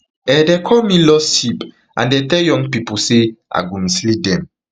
um dem call me lost sheep and dem tell young pipo say i i go mislead them